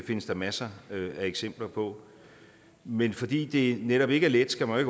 findes der masser af eksempler på men fordi det netop ikke er let skal man